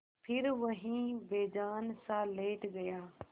फिर वहीं बेजानसा लेट गया